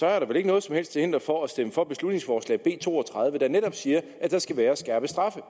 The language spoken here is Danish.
er der vel ikke noget som helst til hinder for at stemme for beslutningsforslag b to og tredive der netop siger at der skal være skærpede straffe